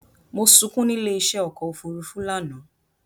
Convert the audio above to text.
Mo sunkún nílé í ṣé ọkọ òfúrúúfú lánàá